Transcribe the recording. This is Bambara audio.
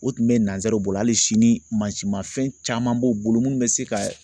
O tun bɛ nanzaraw bolo hali sini mansima fɛn caman b'o bolo minnu bɛ se ka